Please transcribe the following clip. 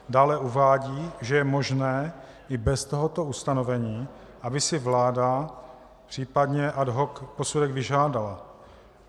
Dále uvádí, že je možné i bez tohoto ustanovení, aby si vláda případně ad hoc posudek vyžádala.